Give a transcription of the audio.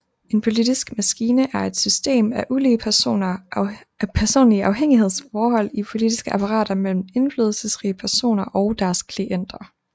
En politisk maskine er et system af ulige personlige afhængighedsforhold i politiske apparater mellem indflydelsesrige personer og deres klienter